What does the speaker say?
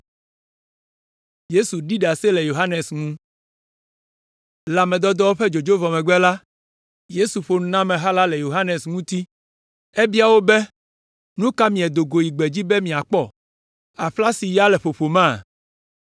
Le ame dɔdɔwo ƒe dzodzo vɔ megbe la, Yesu ƒo nu na ameha la le Yohanes ŋuti. Ebia wo be, “Nu ka miedo go yi gbedzi be miakpɔ? Aƒla si ya le ƒoƒoma?